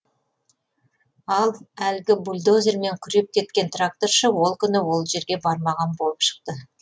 ал әлгі бульдозермен күреп кеткен тракторшы ол күні ол жерге бармаған болып шықты